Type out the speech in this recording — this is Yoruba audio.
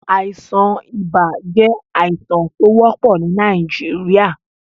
Àìsàn ìbà jẹ̀ àìsàn tó wọ́pọ̀ ni Nàìjíríà.